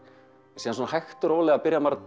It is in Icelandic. síðan hægt og rólega